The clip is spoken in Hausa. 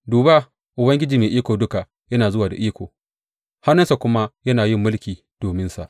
Duba, Ubangiji Mai Iko Duka yana zuwa da iko, hannunsa kuma yana yin mulki dominsa.